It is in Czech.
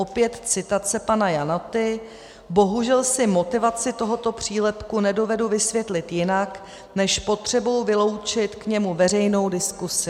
Opět citace pana Janoty: 'Bohužel si motivaci tohoto přílepku nedovedu vysvětlit jinak než potřebou vyloučit k němu veřejnou diskuzi.